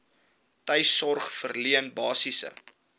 tuissorg verleen basiese